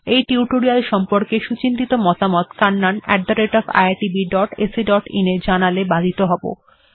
এই টিউটোরিয়াল্ সম্পর্কে আপনার সুচিন্তিত মতামত kannaniitbacin এ জানালে বাধিত হব